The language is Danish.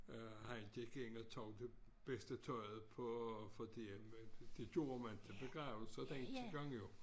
Øh han gik ind og tog det bedste tøjet på fordi det gjorde man til begravelser dengang jo